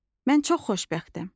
Mən çox xoşbəxtəm.